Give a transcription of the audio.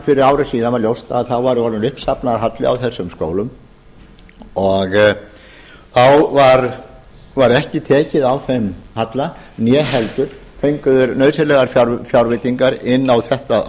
fyrir ári síðan var ljóst að þá var uppsafnaður halli á þessum skólum og þá var ekki tekið á þeim halla né heldur fengu þeir nauðsynlegar fjárveitingar inn á